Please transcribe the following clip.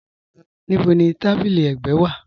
Níbò ni tábílí ẹ̀gbẹ̀ wa?